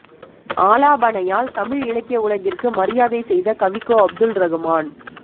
ஆலாபனையால் தமிழ் இலக்கிய உலகிற்கு மரியாதை செய்த கவிக்கோ அப்துல் ரகுமான்